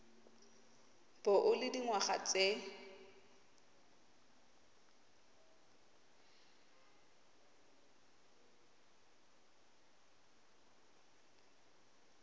bo o le dingwaga tse